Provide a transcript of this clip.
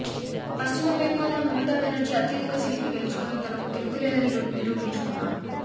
పశ్చిమబెంగాల్లో మమతా బెనర్జీ అత్యధిక సీట్లు గెలుచుకుని తనకు తిరుగులేదని నిరూపించుకున్నారు